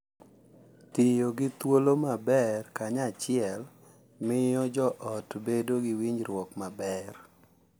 Tiyo gi thuolo maber kanyachiel miyo jo ot bedo gi winjruok maber